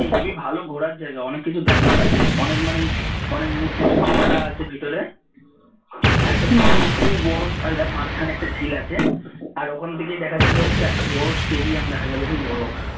NGP ভালো ঘোরার জায়গা অনেক কিছু দেখার আছে অনেক মানে অনেক মূর্তি টুর্র্তী করা আছে ভেতরে একটা বড় খুব বড় মাঝখানে একটা ঝিল আছে আর ওখান থেকে দেখা যাবে হচ্ছে একটা বড় স্টেডিয়াম দেখা যাবে heavy বড়